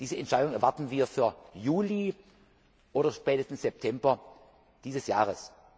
hat. Diese Entscheidung erwarten wir für Juli oder spätestens September dieses